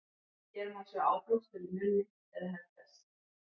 hér má sjá áblástur í munni eða herpes